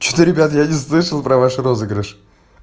что-то ребята я не слышал про ваш розыгрыш